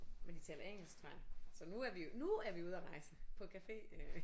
Men de taler engelsk tror jeg så nu er vi nu er vi ude og rejse på café øh